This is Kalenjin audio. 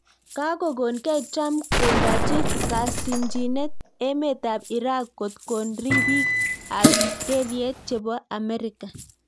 Kakokoon gei Trump kondaachi kasimchineet emeet ap Irak kotkoon ripik ap kelyet chepoo Amerika